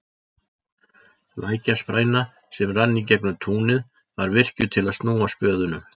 Lækjarspræna, sem rann í gegnum túnið, var virkjuð til að snúa spöðunum.